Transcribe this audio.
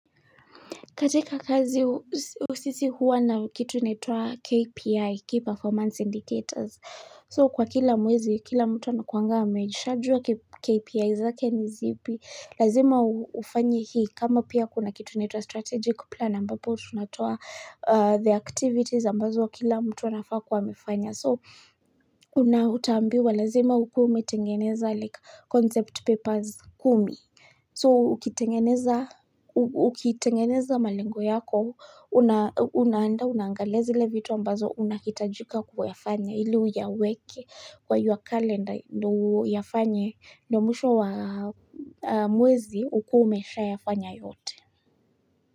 Katika kazi sisi huwa na kitu inaitwa KPI, Key Performance Indicators. So, kwa kila mwezi, kila mtu anakuanga ameshajua KPI zake ni zipi. Lazima ufanye hii kama pia kuna kitu inaitwa strategic plan ambapo tunatoa the activities ambazo kila mtu anafaa kuwa amefanya. So, una utaambiwa lazima ukuwe umetengeneza like concept papers kumi. So, ukitengeneza malengo yako, unaandaa, unaangalia zile vitu ambazo unahitajika kuyafanya ili uyaweke kwa your calendar ndio uyafanye ndio mwisho wa mwezi ukuwe umeshayafanya yote.